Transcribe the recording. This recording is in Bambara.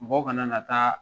Mɔgɔw kana na taa